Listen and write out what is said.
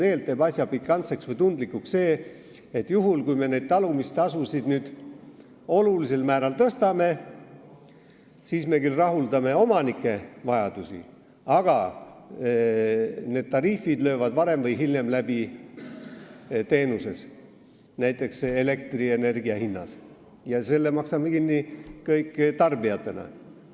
Tegelikult teeb asja pikantseks või tundlikuks see, et juhul kui me nüüd talumistasusid suurel määral tõstame, siis rahuldame küll omanike vajadusi, aga need tariifid löövad varem või hiljem läbi teenuses, näiteks elektrienergia hinnas, aga tarbijatena maksame selle kõik kinni.